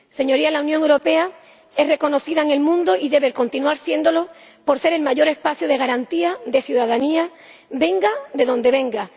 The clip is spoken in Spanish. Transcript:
Señorías, la Unión Europea es reconocida en el mundo, y debe continuar siéndolo, por ser el mayor espacio de garantía de ciudadanía, venga esta de donde venga.